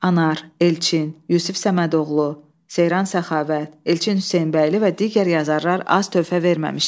Anar, Elçin, Yusif Səmədoğlu, Seyran Səxavət, Elçin Hüseynbəyli və digər yazarlar az töhfə verməmişdilər.